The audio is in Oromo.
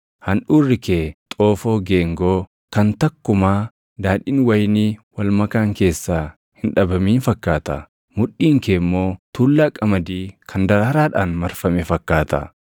Handhuurri kee xoofoo geengoo kan takkumaa daadhiin wayinii wal makaan keessaa // hin dhabamin fakkaata. Mudhiin kee immoo tuullaa qamadii kan daraaraadhaan marfame fakkaata.